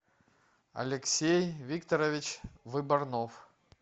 алексей викторович выборнов